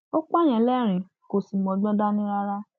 ó pààyàn lérìnín kò sì mọgbọn dání rárá